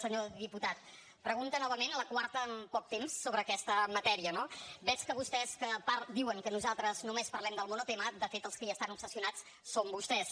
senyor diputat pregunta novament la quarta en poc temps sobre aquesta matèria no veig que vostès que diuen que nosaltres només parlem del monotema de fet els que hi estan obsessionats són vostès